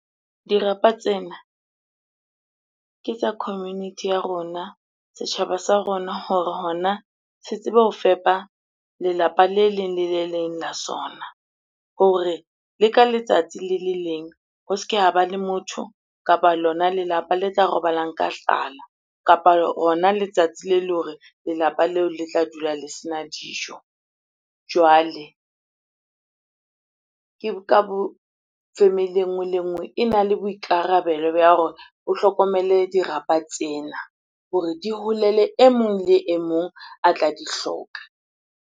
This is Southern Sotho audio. Dirapa tsena ke tsa community ya rona, setjhaba sa rona hore hona se tsebe ho fepa lelapa le leng le le leng la sona. Hore le ka letsatsi le le leng, ho se ke ha ba le motho kapa lona lelapa le tla robalang ka tlala kapa hona letsatsi le le hore lelapa leo le tla dula le sena dijo. Jwale ke ka family e nngwe le nngwe ena le boikarabelo hore o hlokomele dirapa tsena hore di holele e mong le e mong a tla di hloka.